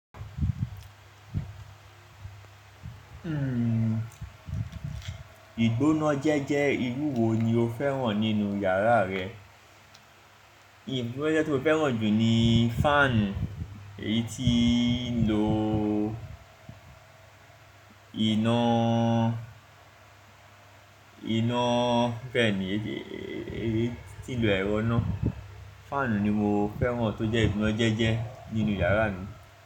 Hmm, ìgbónájẹ́jẹ́ irú wo ni o fẹ́ràn nínú yàrá rẹ? Ìgbónájẹ́jẹ́ tí mo fẹ́ràn jù ni fan, èyí tí ń lo iná, iná bẹ́ẹ̀ ni, èyí tí ń lo ẹ̀rọ iná. Fan ni mo fẹ́ràn tó jẹ́ ìgbónájẹ́jẹ́ nínú yàrá mi.